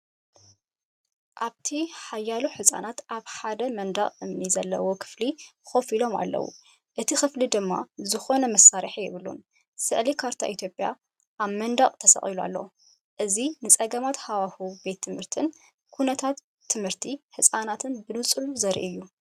ኣብቲ ሓያሎ ህጻናት ኣብ ሓደ መንደቕ እምኒ ዘለዎ ክፍሊ ኮፍ ኢሎም ኣለዉ። እቲ ክፍሊ ድማ ዝኾነ መሳርሒ የብሉን። ስእሊ ካርታ ኢትዮጵያ ኣብ መንደቕ ተሰቒሉ ኣሎ። እዚ ንጸገማት ሃዋህው ቤት ትምህርትን ኩነታት ትምህርቲ ህጻናትን ብንጹር ዘርኢ እዩ።